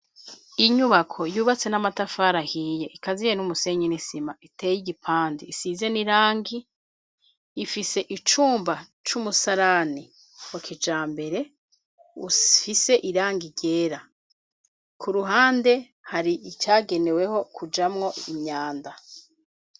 Inyubako yubatse n'amatafari ahiye ikaziye n'umusenyi n'isima iteye igipande isize n'irangi, ifise icumba c'umusarani wa kijambere ufise irangi ryera, ku ruhande hari icageneweho kujamwo imyanda.